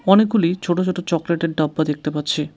অনেকগুলি ছোট ছোট চকলেটের ডাব্বা দেখতে পাচ্ছি।